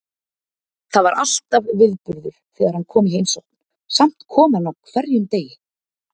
Það var alltaf viðburður þegar hann kom í heimsókn, samt kom hann á hverjum degi.